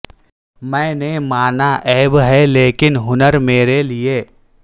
میں نے مانا عیب ہے لیکن ہنر میرے لیے